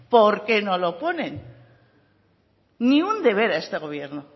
por qué no lo ponen ni un deber a este gobierno